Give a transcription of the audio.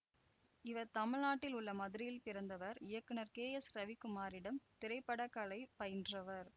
இவர் தமிழ்நாட்டில் உள்ள மதுரையில் பிறந்தவர் இயக்குநர் கேஎஸ்ரவிக்குமாரிடம் திரைப்படக்கலை பயின்றவர்